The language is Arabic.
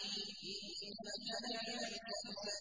إِنَّكَ لَمِنَ الْمُرْسَلِينَ